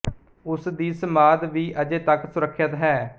ਉਸ ਦੀ ਸਮਾਧ ਵੀ ਅਜੇ ਤੱਕ ਸੁਰੱਖਿਅਤ ਹੈ